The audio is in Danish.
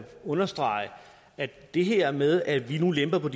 understrege at det her med at vi nu lemper på